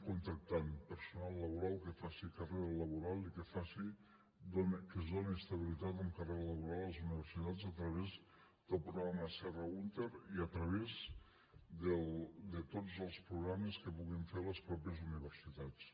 contractem personal laboral que faci carrera laboral i a qui es doni estabilitat amb carrera laboral a les universitats a través del programa serra húnter i a través de tots els programes que puguin fer les mateixes universitats